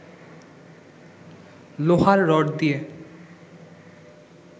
লোহার রড দিয়ে